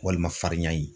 Walima farinya ye